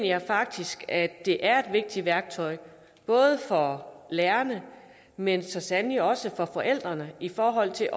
jeg faktisk at det er et vigtigt værktøj både for lærerne men så sandelig også for forældrene i forhold til